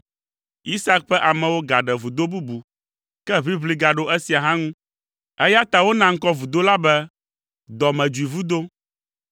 Isak ƒe amewo gaɖe vudo bubu, ke ʋiʋli gaɖo esia hã ŋu, eya ta wona ŋkɔ vudo la be, “Dɔmedzoevudo.”